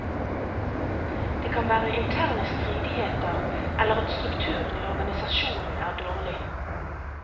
Det kan være interne stridigheter eller at strukturen i organisasjonen er dårlig.